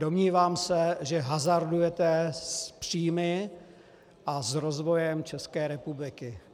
Domnívám se, že hazardujete s příjmy a s rozvojem České republiky.